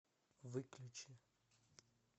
выключи